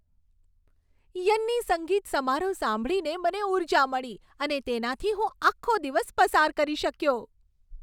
Yanni સંગીત સમારોહ સાંભળીને મને ઊર્જા મળી અને તેનાથી હું આખો દિવસ પસાર કરી શક્યો.